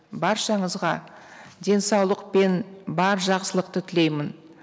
баршаңызға денсаулық пен бар жақсылықты тілеймін